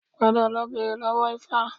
Padà lọ bèrè lọ́wó Ifa